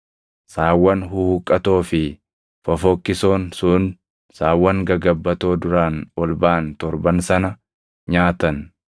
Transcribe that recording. Saawwan huhuqqatoo fi fofokkisoon sun saawwan gagabbatoo duraan ol baʼan torban sana nyaatan.